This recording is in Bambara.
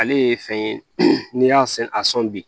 Ale ye fɛn ye n'i y'a sɛnɛ a sɔn bi